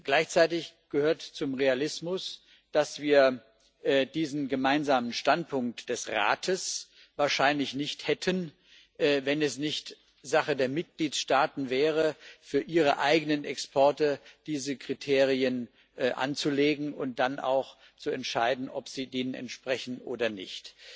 Gleichzeitig gehört zum Realismus, dass wir diesen gemeinsamen Standpunkt des Rates wahrscheinlich nicht hätten, wenn es nicht Sache der Mitgliedstaaten wäre, diese Kriterien für ihre eigenen Exporte anzulegen und dann auch zu entscheiden, ob sie denen entsprechen oder nicht.